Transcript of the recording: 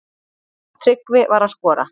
Tryggvi var að skora.